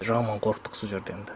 жаман қорықтық сол жерде енді